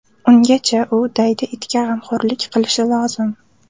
Ungacha u daydi itga g‘amxo‘rlik qilishi lozim.